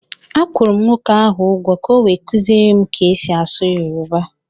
Akwụrụ m nwoke ahụ ụgwọ ka o wee kuziere m ka e si asụ yoruba